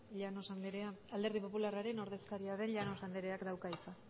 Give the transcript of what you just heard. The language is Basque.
llanos andrea alderdi popularraren ordezkaria den llanos andreak dauka hitza